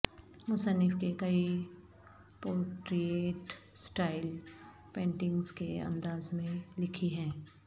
مصنف کے کئی پورٹریٹ سٹائل پینٹنگز کے انداز میں لکھی ہیں